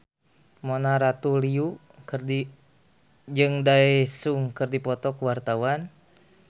Mona Ratuliu jeung Daesung keur dipoto ku wartawan